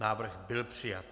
Návrh byl přijat.